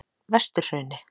Vesturhrauni